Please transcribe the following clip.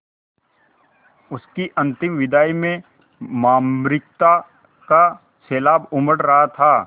उसकी अंतिम विदाई में मार्मिकता का सैलाब उमड़ रहा था